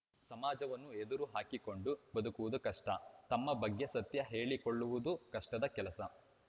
ಸಮಾಜವನ್ನು ಎದುರು ಹಾಕಿಕೊಂಡು ಬದುಕುವುದು ಕಷ್ಟ ತಮ್ಮ ಬಗ್ಗೆ ಸತ್ಯ ಹೇಳಿಕೊಳ್ಳುವುದೂ ಕಷ್ಟದ ಕೆಲಸ